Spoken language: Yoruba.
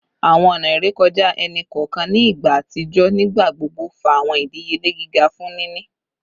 Awọn ọna irekọja ẹni kọọkan ni igba atijọ nigbagbogbo fa awọn idiyele giga fun nini